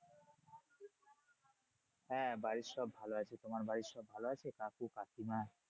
হ্যাঁ বাড়ির সব ভালো আছে। তোমার বাড়ির সব ভালো আছে? কাকু কাকিমা?